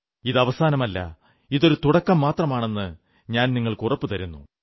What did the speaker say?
ഇത് അവസാനമല്ല ഇതൊരു തുടക്കം മാത്രമാണെന്ന് ഞാൻ നിങ്ങൾക്ക് ഉറപ്പു തരുന്നു